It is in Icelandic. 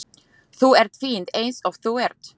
Þú ert fín eins og þú ert.